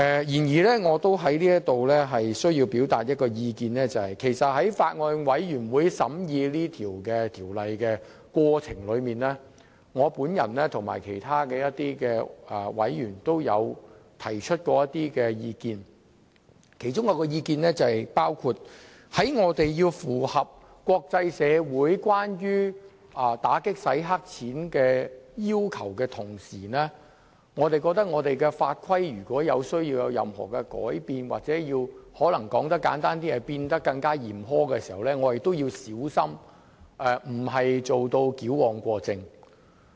不過，我想在此表達一些意見，就是在法案委員會審議《條例草案》的過程中，我和其他委員曾提出一些意見，包括一旦我們要為符合國際社會有關打擊洗黑錢的要求而要在法規方面作出任何改變時，或簡單來說就是令法規變得更嚴苛，我們必須小心，以免矯枉過正。